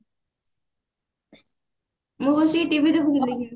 ମୁଁ ବସିକି TV ଦେଖୁଥିଲି